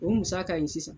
O musaka in sisan